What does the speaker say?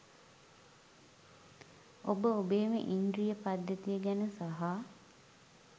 ඔබ ඔබේම ඉන්ද්‍රිය පද්ධතිය ගැන සහ